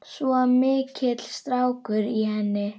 Svo mikill strákur í henni.